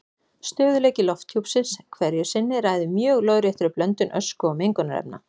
Stöðugleiki lofthjúpsins hverju sinni ræður mjög lóðréttri blöndun ösku og mengunarefna.